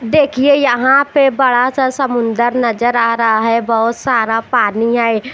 देखिए यहां पे बड़ा सा समुंदर नजर आ रहा है बहोत सारा पानी है।